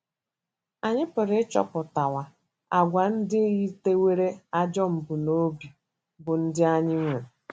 Anyị pụrụ ịchọpụta àgwà ndị yitewere ajọ mbunobi bụ́ ndị anyị nwere?